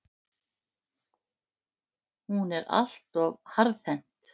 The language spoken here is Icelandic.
Hún er allt of harðhent.